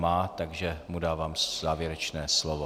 Má, takže mu dávám závěrečné slovo.